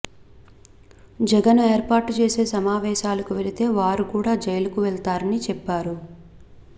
జగన్ ఏర్పాటుచేసే సమావేశాలకు వెళితే వారు కూడా జైలుకు వెళ్తారని చెప్పారు